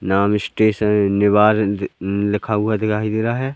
नाम स्टेशन निवार ल लिखा हुआ दिखाई दे रहा है।